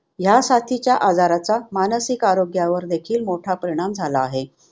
ह्यासाथीच्या आजाराचा मानसिक आरोग्यावर देखील मोठा परिणाम झाला आहे.